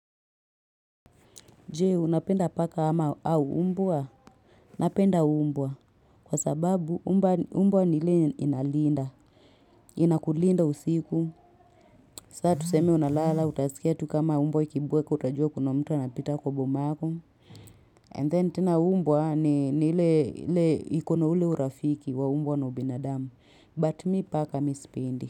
Je, unapenda paka ama au mbwa? Napenda mbwa. Kwa sababu mbwa ni ile inalinda. Inakulinda usiku. Sasa tuseme unalala, utasikia tu kama mbwa ikibweka, utajua kuna mtu anapita kwa boma yako. And then tena mbwa ni nile iko na ule urafiki wa mbwa na ubinadamu. But me paka mimi sipendi.